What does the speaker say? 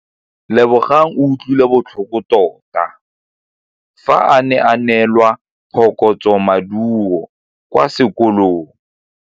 Lebogang o utlwile botlhoko tota fa a neelwa phokotsômaduô kwa sekolong.